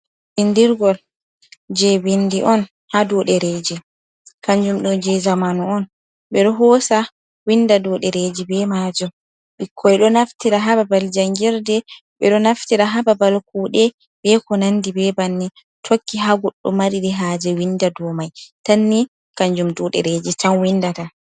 Binndirgol je bindi on ha dow ɗereji, kanjum ɗo je zamanu on, ɓeɗo hosa winnda dow dereji be majum, bikkoi ɗo naftira ha babal jangirde, ɓeɗo naftira ha babal kuɗe beko nandi be banni, tokki ha godɗo mari ha je winda dow mai, tan ni kanjum dow ɗereji tan windata.